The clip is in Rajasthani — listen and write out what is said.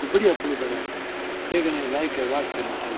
ओ बढ़िया पूल बनायेडो है देखन के लायक है वास्तव मि ठा --